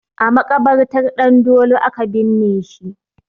A maƙabartar Ɗandolo aka binne shi